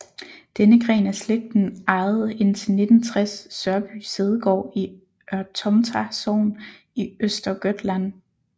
Denne gren af slægten ejede indtil 1960 Sörby sædegård i Örtomta sogn i Östergötland